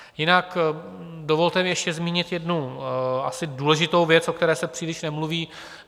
Jinak dovolte mi ještě zmínit jednu asi důležitou věc, o které se příliš nemluví.